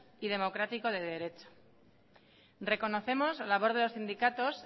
y democrático de derecho reconocemos la labor de los sindicatos